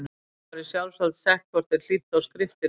Prestum var í sjálfsvald sett hvort þeir hlýddu á skriftir fólks.